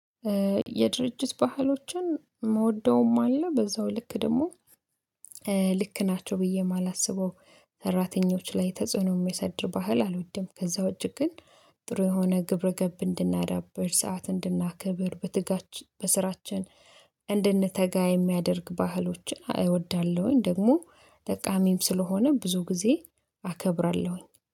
የድርጅት ባህሎችን ምወደውም አለ በዛው ልክ ደግሞ ልክ ናቸው ብዬ የማላስበው ሰራተኞች ላይ ተጽዕኖ የሚያሳድር ባህል አልወድም። ከዛ ውጪ ግን ጥሩ የሆነ ግብረገብ እንድናዳብር ሰዓት እንድናክብር በትጋች በስራችን እንድንተጋ የሚያደርግ ባህሎችን እወዳለሁኝ። ደግሞ ጠቃሚም ስለሆነ ብዙ ጊዜ አከብራለሁኝ